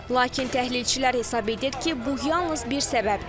Lakin təhlilçilər hesab edir ki, bu yalnız bir səbəbdir.